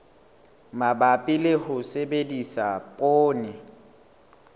mabapi le ho sebedisa poone